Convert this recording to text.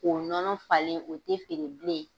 K'o nɔnɔ falen, o te feere bilen.